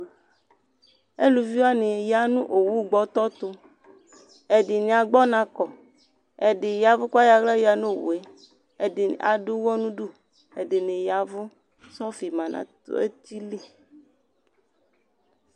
Eluviwani ya nʋ owu gbɔtɔ tʋ Ɛdini agb'ɔna kɔ, ɛdi yavʋ k'ayɔ aɣla ɣǝ n'owu yɛ, ɛdini adʋ ʋwɔ n'udu, ɛdini yavʋ, sɔfi ma n'eti li